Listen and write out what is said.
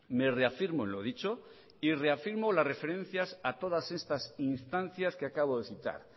me reafirmo en lo dicho y reafirmo las referencias a todas estas instancias que acabo de citar